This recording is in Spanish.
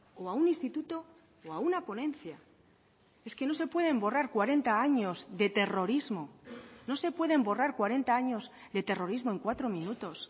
o a un instituto o a una ponencia es que no se pueden borrar cuarenta años de terrorismo no se pueden borrar cuarenta años de terrorismo en cuatro minutos